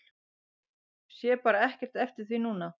Sé bara ekkert eftir því núna.